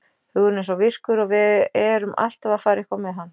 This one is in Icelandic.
Hugurinn er svo virkur og við erum alltaf að fara eitthvað með hann.